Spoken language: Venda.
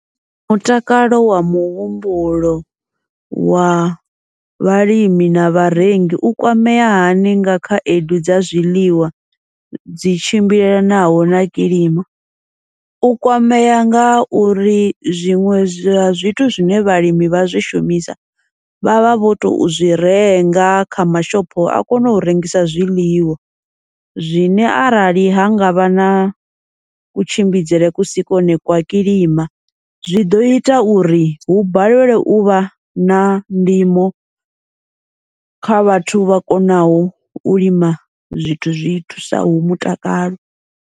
Mutakalo wa muhumbulo wa vhalimi na vharengi u kwamea hani nga khaedu dza zwiḽiwa dzi tshimbilelanaho na kilima, u kwamea ngauri zwiṅwe zwa zwithu zwine vhalimi vha zwi shumisa, vha vha vho tou zwi renga kha mashopho a kone u rengisa zwiḽiwa, zwine arali ha ngavha na kutshimbidzele kusi kwa hone kwa kilima zwi ḓo ita uri hu balelelwe uvha na ndimo kha vhathu vha konaho u lima zwithu zwithu zwi thusaho mutakalo.